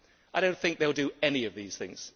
I do not think they will do any of these things.